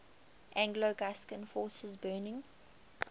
anglo gascon forces burning